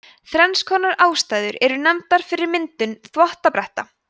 þrenns konar ástæður eru nefndar fyrir myndun þvottabretta